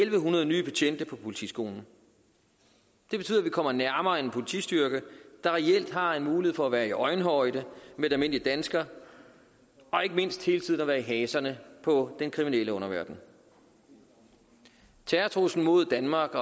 en hundrede nye betjente på politiskolen det betyder at vi kommer nærmere en politistyrke der reelt har en mulighed for at være i øjenhøjde med almindelige danskere og ikke mindst hele tiden at være i haserne på den kriminelle underverden terrortruslen mod danmark